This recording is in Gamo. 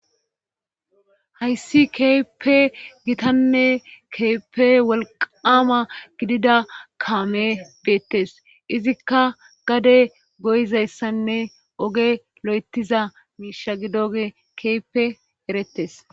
Hayssi keeppe gitanne keepe wolqama gidida kaame beettes izikka gade goyizayssanne oge lo7etiza miisha gidoge keepe erettes